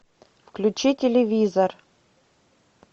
включи телевизор